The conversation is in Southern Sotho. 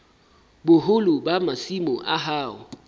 boholo ba masimo a hao